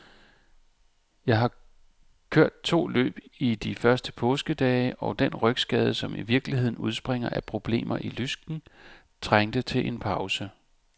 Jeg har kørt to løb i de første påskedage, og den rygskade, som i virkeligheden udspringer af problemer i lysken, trængte til en pause.